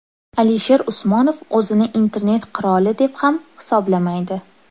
Alisher Usmonov o‘zini internet qiroli, deb ham hisoblamaydi.